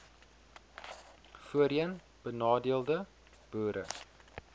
voorheen benadeelde boere